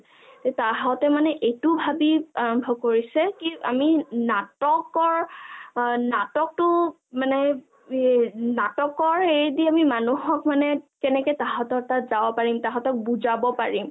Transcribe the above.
তাঁহতে মানে এইটো ভাবি আৰম্ভ কৰিছে কি মানে আমি নাটকৰ নাটকটো মানে কি নাটকৰ হেই দি মানুহক আমি কেনেকে তাঁহাতৰ তাত যাব পাৰিম বুজাব পাৰিম